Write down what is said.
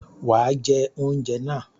Wàá jẹ oúnjẹ náà